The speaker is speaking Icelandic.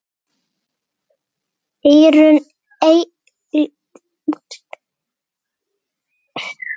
Eyrun eilítið útstæð.